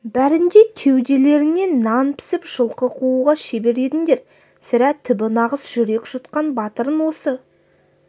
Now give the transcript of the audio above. бәрің де кеуделеріңе нан пісіп жылқы қууға шебер едіңдер сірә түбі нағыз жүрек жұтқан батырың осы